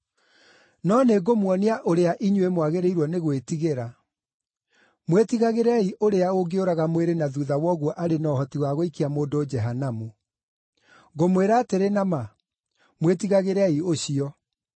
No nĩ ngũmuonia ũrĩa inyuĩ mwagĩrĩirwo nĩ gwĩtigĩra: Mwĩtigagĩrei ũrĩa ũngĩũraga mwĩrĩ na thuutha wa ũguo arĩ na ũhoti wa gũikia mũndũ Jehanamu. Ngũmwĩra atĩrĩ na ma, mwĩtigagĩrei ũcio.